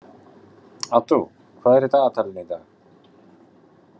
Addú, hvað er í dagatalinu í dag?